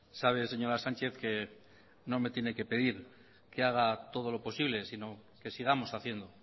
sabe señora sánchez que no me tiene que pedir que haga todo lo posible sino que sigamos haciendo